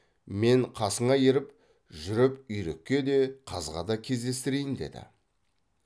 мен қасыңа еріп жүріп үйрекке де қазға да кездестірейін деді